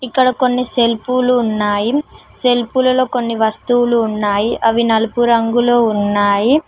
ఇక్కడ కొన్ని సెల్ఫులు ఉన్నాయి సెల్ఫ్లలలో కొన్ని వస్తువులు ఉన్నాయి అవి నలుపు రంగులో ఉన్నాయి.